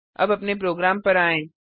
अब अपने प्रोग्राम पर आएँ